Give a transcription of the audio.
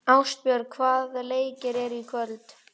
Ástbjörg, hvaða leikir eru í kvöld?